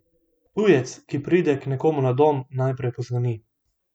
Tujec, ki pride k nekomu na dom, najprej pozvoni.